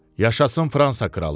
Yaşasın Fransa kralı.